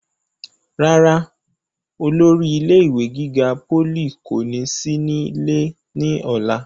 rárá, olórí ilé ìwé gíga pólì kò ní sí nílé ní ọ̀la